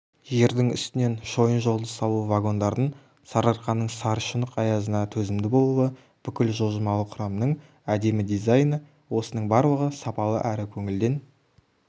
жердің үстінен шойын жолды салу вагондардың сарыарқаның сарышұнық аязына төзімді болуы бүкіл жылжымалы құрамның әдемі дизайны осының барлығы сапалы әрі көңілден